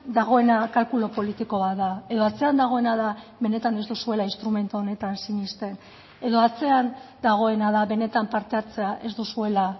dagoena kalkulu politiko bat da edo atzean dagoena da benetan ez duzuela instrumentu honetan sinesten edo atzean dagoena da benetan parte hartzea ez duzuela